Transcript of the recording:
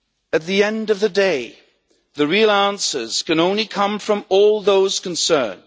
At the end of the day, the real answers can only come from all those concerned.